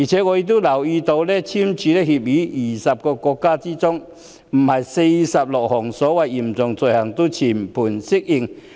我也留意到，已跟香港簽署逃犯移交協定的20個國家之中，並非46項所謂的嚴重罪類都全盤適用。